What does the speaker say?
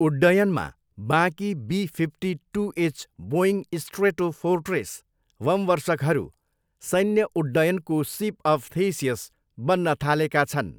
उड्डयनमा, बाँकी B fifty two H Boeing Stratofortress बमवर्षकहरू सैन्य उड्डयनको सिप अफ थेसियस बन्न थालेका छन्।